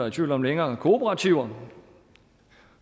i tvivl om længere kooperativer